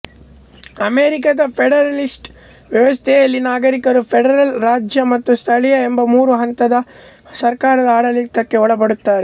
ಅಮೆರಿಕದ ಫೆಡರಲಿಸ್ಟ್ ವ್ಯವಸ್ಥೆಯಲ್ಲಿ ನಾಗರಿಕರು ಫೆಡರಲ್ ರಾಜ್ಯ ಮತ್ತು ಸ್ಥಳೀಯ ಎಂಬ ಮೂರು ಹಂತದ ಸರ್ಕಾರದ ಆಡಳಿತಕ್ಕೆ ಒಳಪಡುತ್ತಾರೆ